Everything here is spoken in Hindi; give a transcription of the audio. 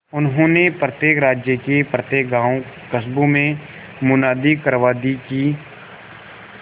उन्होंने प्रत्येक राज्य के प्रत्येक गांवकस्बों में मुनादी करवा दी कि